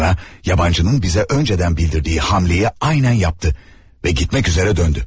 Sonra yabancının bizə öncədən bildirdiyi hamleyi aynən yapdı və getmək üzərə döndü.